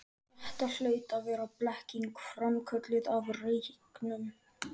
Þetta hlaut að vera blekking, framkölluð af reyknum.